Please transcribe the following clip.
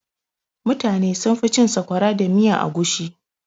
Mutane sunfi cin sakwara da miyan agushi.